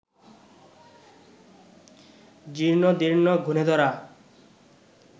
জীর্ণদীর্ণ, ঘুণেধরা